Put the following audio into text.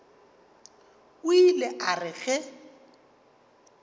o ile a re ge